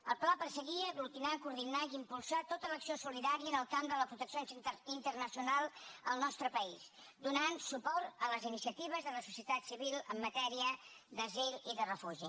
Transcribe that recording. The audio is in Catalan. el pla perseguia aglutinar coordinar i impulsar tota l’acció solidària en el camp de la protecció internacional al nostre país donant suport a les iniciatives de la societat civil en matèria d’asil i de refugi